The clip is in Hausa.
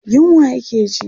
Yunwa yake ji.